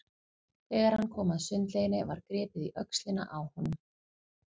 Þegar hann kom að sundlauginni var gripið í öxlina á honum.